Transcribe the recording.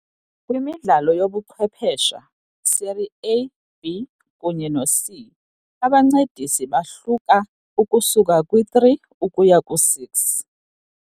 Kwimidlalo yobuchwephesha, Serie A, B kunye noC, abancedisi bahluka ukusuka kwi-3 ukuya kwi-6.